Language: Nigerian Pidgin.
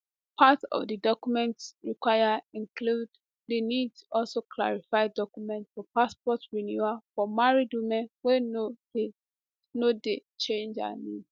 part of di documents required include di nis also clarify documents for passport renewal for married women wey no dey no dey change her name